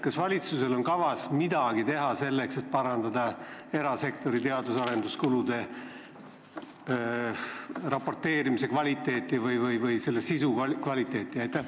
Kas valitsusel on kavas midagi teha selleks, et parandada erasektori teadus- ja arenduskulude raporteerimise kvaliteeti või selle sisu kvaliteeti?